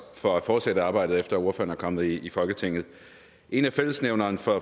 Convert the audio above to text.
for at fortsætte arbejdet efter ordføreren er kommet i folketinget en af fællesnævnerne for